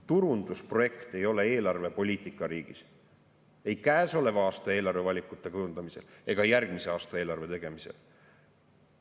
Turundusprojekt ei ole eelarvepoliitika riigis ei käesoleva aasta eelarvevalikute kujundamisel ega järgmise aasta eelarve tegemisel.